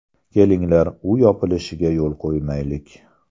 Kelinglar, u yopilishiga yo‘l qo‘ymaylik.